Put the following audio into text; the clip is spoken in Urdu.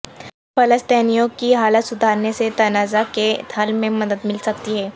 فلسطینیوں کی حالت سدھارنے سے تنازع کے حل میں مدد مل سکتی ہے